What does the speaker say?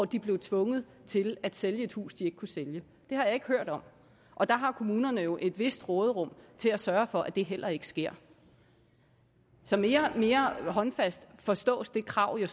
de blev tvunget til at sælge et hus de ikke kunne sælge det har jeg ikke hørt om og der har kommunerne jo et vist råderum til at sørge for at det heller ikke sker så mere mere håndfast forstås det krav jo